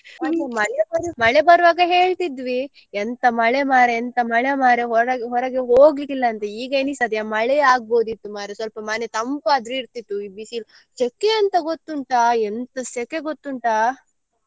ಮತ್ತೆ ಮಳೆ ಬರು~ ಮಳೆ ಬರುವಾಗ ಹೇಳ್ತಿದ್ವಿ ಎಂತ ಮಳೆ ಮಾರ್ರೆ ಎಂತ ಮಳೆ ಮಾರ್ರೆ ಹೊರ~ ಹೊರಗೆ ಹೋಗ್ಲಿಕ್ಕಿಲ್ಲಂತೆ ಈಗ ಅನ್ನಿಸ್ತದೆ ಮಳೆಯೇ ಆಗಬೋದಿತ್ತು ಮಾರ್ರೆ ಮನೆ ಸ್ವಲ್ಪ ತಂಪಾದ್ರು ಇರ್ತಿತ್ತು ಈ ಬಿಸಿಲು ಸೆಖೆ ಎಂತ ಗೊತ್ತುಂಟಾ ಎಂತ ಸೆಖೆ ಗೊತ್ತುಂಟಾ.